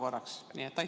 Aitäh!